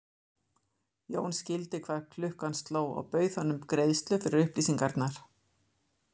Jón skildi hvað klukkan sló og bauð honum greiðslu fyrir upplýsingar.